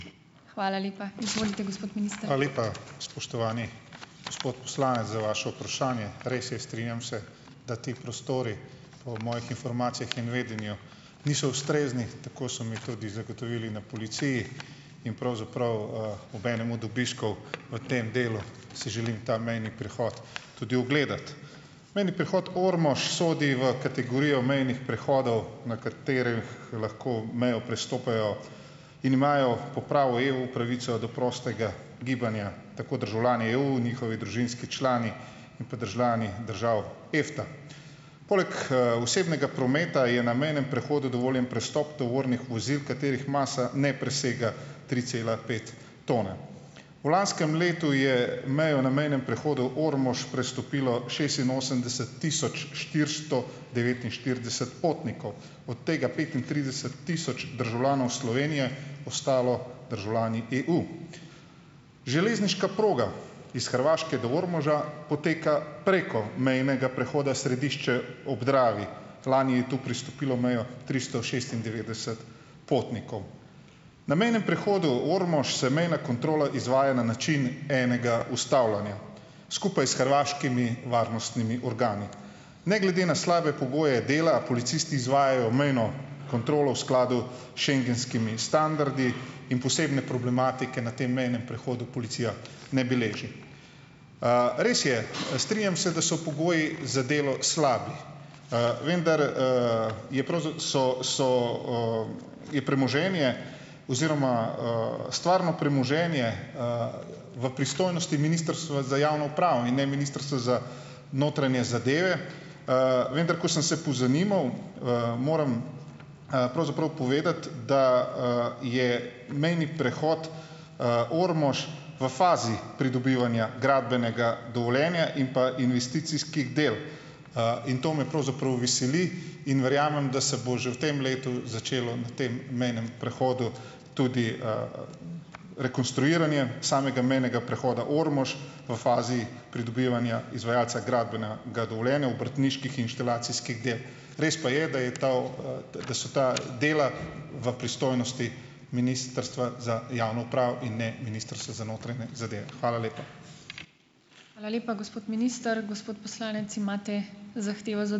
Hvala lepa, spoštovani gospod poslanec, za vaše vprašanje. Res je, strinjam se, da ti prostori po mojih informacijah in vedenju niso ustrezni, tako so mi tudi zagotovili na policiji, in pravzaprav, ob enem od obiskov v tem delu, si želim ta mejni prehod tudi ogledati. Mejni prehod Ormož sodi v kategorijo mejnih prehodov, na katerih lahko mejo prestopajo in imajo po pravu EU pravico do prostega gibanja, tako državljani EU, njihovi družinski člani in pa državljani držav EFTA. Poleg, osebnega prometa je na mejnem prehodu dovoljen prestop tovornih vozil, katerih masa ne presega tri cela pet tone. V lanskem letu je mejo na mejnem prehodu Ormož prestopilo šestinosemdeset tisoč štiristo devetinštirideset potnikov, od tega petintrideset tisoč državljanov Slovenije, ostalo državljani EU. Železniška proga iz Hrvaške do Ormoža poteka preko mejnega prehoda Središče ob Dravi. Lani je tu pristopilo mejo tristo šestindevetdeset potnikov. Na mejnem prehodu Ormož se mejna kontrola izvaja na način enega ustavljanja skupaj s hrvaškimi varnostnimi organi. Ne glede na slabe pogoje dela policisti izvajajo mejno kontrolo v skladu schengenskimi standardi in posebne problematike na tem mejnem prehodu policija ne beleži. Res je, strinjam se, da so pogoji za delo slabi, vendar, je so so, je premoženje oziroma, stvarno premoženje, v pristojnosti Ministrstva za javno upravo in ne Ministrstva za notranje zadeve. Vendar ko sem se pozanimal, moram, pravzaprav povedati, da, je mejni prehod, Ormož v fazi pridobivanja gradbenega dovoljenja in pa investicijskih del, in to me pravzaprav veseli in verjamem, da se bo že v tem letu začelo na tem mejnem prehodu tudi, rekonstruiranje samega mejnega prehoda Ormož v fazi pridobivanja izvajalca gradbenega dovoljenja obrtniških inštalacijskih del. Res pa je, da so to, da so ta dela v pristojnosti Ministrstva za javno upravo in ne Ministrstva za notranje zadeve. Hvala lepa.